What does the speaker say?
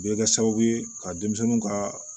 Bɛ kɛ sababu ye ka denmisɛnninw ka